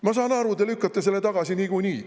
Ma saan aru, te lükkate selle niikuinii tagasi.